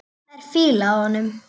Það er fýla af honum.